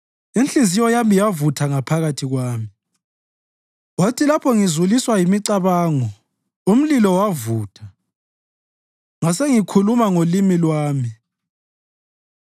Inhliziyo yami yavutha ngaphakathi kwami; kwathi lapho ngizuliswa yimicabango, umlilo wavutha; ngasengikhuluma ngolimi lwami: